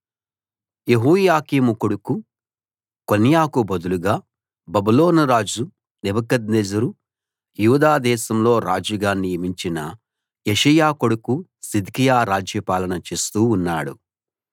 యెహోయాకీము కొడుకు కొన్యాకు బదులుగా బబులోనురాజు నెబుకద్నెజరు యూదా దేశంలో రాజుగా నియమించిన యోషీయా కొడుకు సిద్కియా రాజ్యపాలన చేస్తూ ఉన్నాడు